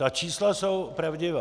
Ta čísla jsou pravdivá.